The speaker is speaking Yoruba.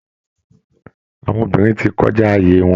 Àwọn obìnrin ti kọjá ààyè wọn